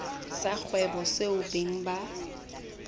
sa kgwebo seo beng ba